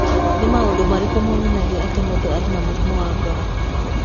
Nĩ maũndũ marĩkũ monanagia atĩ mũndũ arĩ na mũrimũ wa ngoro?